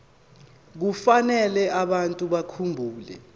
kufanele abantu bakhumbule